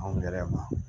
Anw gɛlɛya